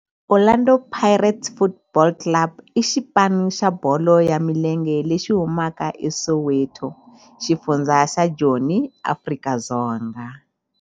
Orlando Pirates Football Club i xipano xa bolo ya milenge lexi humaka eSoweto, xifundzha xa Joni, Afrika-Dzonga.